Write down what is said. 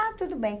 Ah, tudo bem.